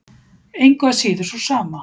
Engu að síður sú sama.